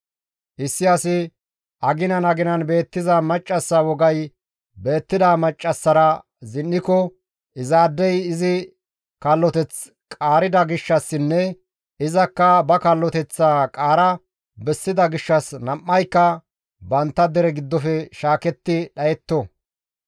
« ‹Issi asi aginan aginan beettiza maccassa wogay beettida maccassara zin7iko izaadey izi kalloteth qaarida gishshassinne izakka ba kalloteththaa qaara bessida gishshas nam7ayka bantta dere giddofe shaaketti dhayetto.